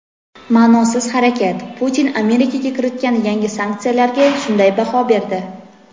"Ma’nosiz harakat": Putin Amerika kiritgan yangi sanksiyalarga shunday baho berdi.